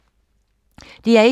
DR1